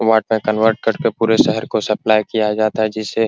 वाट में कन्वर्ट करके पूरे शहर को सप्लाई किया जाता है जिससे --